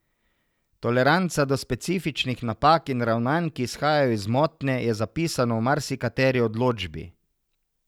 Toleranca do specifičnih napak in ravnanj, ki izhajajo iz motnje, je zapisano v marsikateri odločbi.